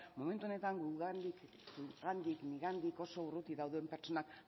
momentu honetan nigandik oso urrutik dauden pertsonak